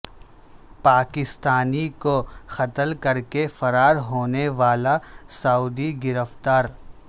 پاکستانی کو قتل کر کے فرار ہونے والا سعودی گرفتار